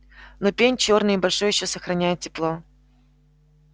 но пень чёрный и большой ещё сохраняет тепло